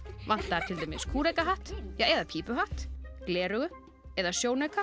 vantar til dæmis kúrekahatt eða pípuhatt gleraugu eða sjónauka